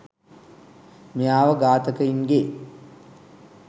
මෙයාව ඝාතකයින්ගේ